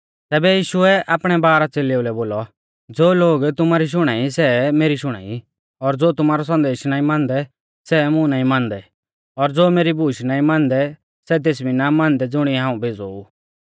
तैबै यीशुऐ आपणै बारह च़ेलेउलै बोलौ ज़ो लोग तुमारी शुणाई सै मेरी शुणाई और ज़ो तुमारौ संदेश नाईं मानदै सै मुं नाईं मानदै और ज़ो मेरी बूश नाईं मानदै सै तेस भी ना मानदै ज़ुणिऐ हाऊं भेज़ौ ऊ